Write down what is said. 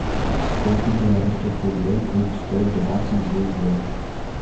сколько белорусских рублей будет стоить двадцать две евро